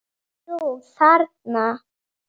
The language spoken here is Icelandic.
Jú, þarna!